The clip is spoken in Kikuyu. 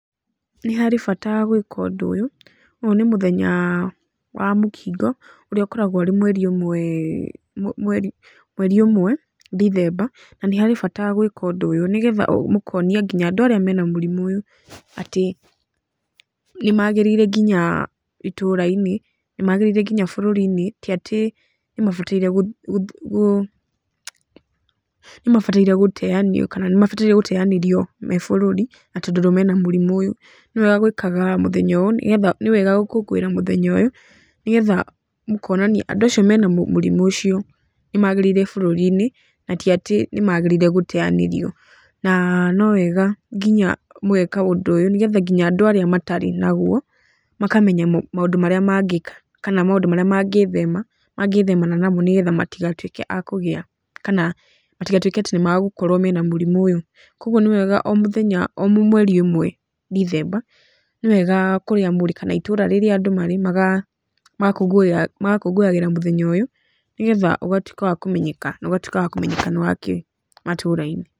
Nĩ harĩ bata gwĩka ũndũ ũyũ, ũyũ nĩ mũthenya wa mũkingo, ũrĩa ũkoragwo ũrĩ mweri ĩmwe ndithemba na nĩ harĩ bata gwĩka ũndũ ũyũ nĩgetha mũkonia nginya arĩa mena mũrimũ ũyũ atĩ nĩmagĩrĩire nginya itũra-inĩ nĩmagĩrĩire nginya bũrũri-inĩ ti atĩ nĩ mabataire gũteyanĩrio kana nĩ mabataire gũteyanĩrio me bũrũri na tondũ mena mũrimũ ũyũ, nĩwega gwĩkaga mũthenya ũyũ, nĩwega gũkũngũĩra mũthenya ũyũ, nĩgetha mũkonania andũ acio mena mũrimũ ũcio nĩ magĩrĩire bũrũri-inĩ na ti atĩ nĩmagĩrĩire gũteyanĩrio, na no wega nginya mũgeka ũndũ ũyũ nginya nĩgetha nginya andũ arĩa matarĩ naguo makamenya maũndũ marĩa mangĩka kana maũndũ marĩa mangĩthemana namo nĩgetha matigatuĩke a kũgia kana matigatuĩke atĩ nĩ magũkorwo na mũrimũ ũyũ, koguo nĩ wega o mũthenya o mweri ĩmwe ndithemba, nĩwega o kũrĩa mũrĩ, itũra rĩrĩa andũ marĩ magakũngũyagĩra mũthenya ũyũ nĩgetha ũgatuĩka wa kũmenyeka na ũgatuĩka wa kũmenyeka nĩ wa kĩ matũra-inĩ